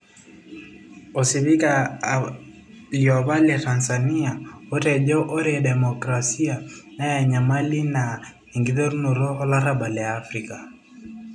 osipika liopa leTZ otejo ore democrasia na enyamali naa enkiterunoto olarabal te Afrika